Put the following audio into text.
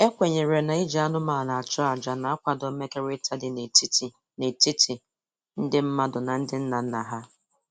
E kwenyere na-iji anụmanụ achụ aja na-akwado mmekọrịta dị n'etiti n'etiti ndị mmadụ na ndị nnanna ha